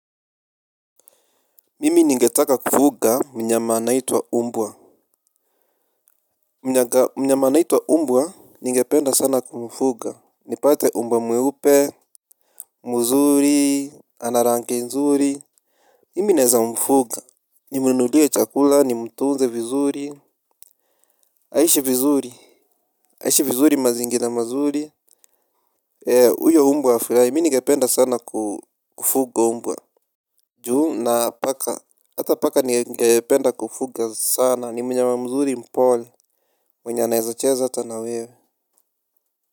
Mimi ningetaka kufuga mnyama anaitwa umbwa. Mnyama anaitwa umbwa ningependa sana kumfuga nipate umbwa mweupe. Muzuri ana rangi nzuri. Mimi naeza mfuga. Nimunulia chakula nimtunze vizuri. Aishi vizuri. Aishi vizuri mazingira mazuri. Uyo umbwa afirai mi ningependa sana kufuga umbwa. Juu na paka hata paka ningependa kufuga sana ni mnyama mzuri mpole mwenye anaeza cheza hata na wewe.